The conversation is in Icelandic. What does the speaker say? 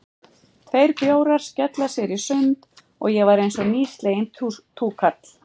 Tveir bjórar, skella sér í sund, og ég var einsog nýsleginn túkall.